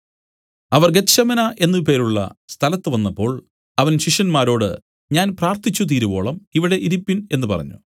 അവർ Gethsemane എന്നു പേരുള്ള സ്ഥലത്തുവന്നപ്പോൾ അവൻ ശിഷ്യന്മാരോട് ഞാൻ പ്രാർത്ഥിച്ചുതീരുവോളം ഇവിടെ ഇരിപ്പിൻ എന്നു പറഞ്ഞു